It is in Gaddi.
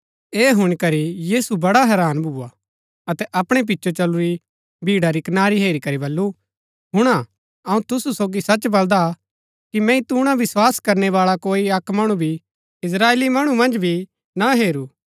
ऐह हुणी करी यीशु बड़ा हैरान भुआ अतै अपणै पिचो चलुरी भीड़ा री कनारी हेरी करी बल्लू हुणा अऊँ तुसु सोगी सच बलदा कि मैंई तूणा विस्वास करणै बाळा कोई अक्क मणु भी इस्त्राएली मणु मन्ज भी ना हेरू